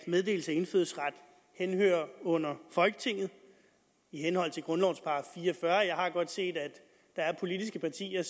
meddelelse af indfødsret under folketinget i henhold til grundlovens § fire og fyrre jeg har godt set at der er politiske partier